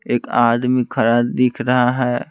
एक आदमी खड़ा दिख रहा है।